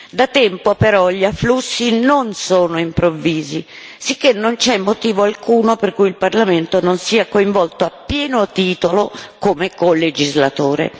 Da tempo però gli afflussi non sono improvvisi, sicché che non c'è motivo alcuno per cui il Parlamento non sia coinvolto a pieno titolo come colegislatore.